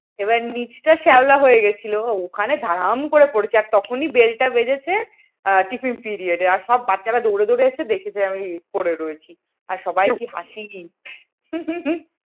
এবার নিচটা শ্যাওলা হয়ে গিয়েছিল ওখানে ধারাম করে পড়েছি আর তখনই bell টা বেজেছে আর সব বাচ্চারা দৌড়ে দৌড়ে এসেছে দেখছে আমি পড়ে রয়েছি আর সবাইয়ের কি হাসি